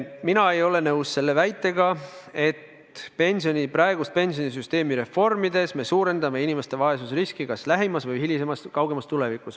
Mina ei ole nõus väitega, et praegust pensionisüsteemi reformides me suurendame inimeste vaesusriski kas lähemas või hilisemas, kaugemas tulevikus.